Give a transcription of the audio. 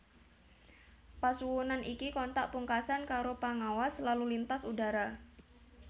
Pasuwunan iki kontak pungkasan karo Pangawas Lalu Lintas Udara